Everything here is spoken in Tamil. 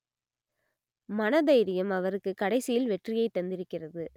மனதைரியம் அவருக்கு கடைசியில் வெற்றியை தந்திருக்கிறது